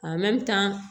tan